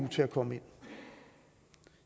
til at komme ind